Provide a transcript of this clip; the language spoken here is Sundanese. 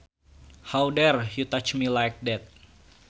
How dare you touch me like that